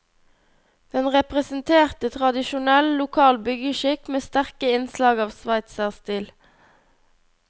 Den representerte tradisjonell, lokal byggeskikk med sterke innslag av sveitserstil.